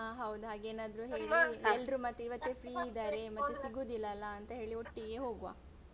ಅಹ್ ಹೌದ್ ಹಾಗೆ ಏನಾದ್ರು ಹೇಳಿ ಎಲ್ರು ಮತ್ತೆ ಇವತ್ತೆ free ಇದ್ದಾರೆ ಮತ್ತೆ ಸಿಗುದಿಲ್ಲಲ್ಲ ಅಂತ ಹೇಳಿ ಒಟ್ಟಿಗೆ ಹೋಗುವ.